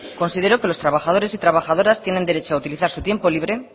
considero que los trabajadores y trabajadoras tienen derecho a utilizar su tiempo libre